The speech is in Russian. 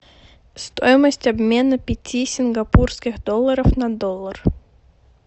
стоимость обмена пяти сингапурских долларов на доллар